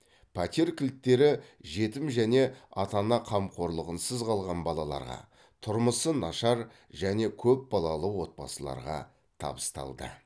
пәтер кілттері жетім және ата ана қамқорлығынсыз қалған балаларға тұрмысы нашар және көпбалалы отбасыларға табысталды